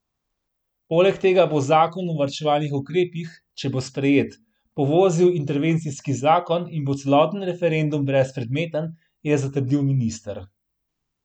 Poleg tega bo zakon o varčevalnih ukrepih, če bo sprejet, povozil intervencijski zakon in bo celoten referendum brezpredmeten, je zatrdil minister.